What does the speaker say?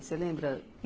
Você lembra?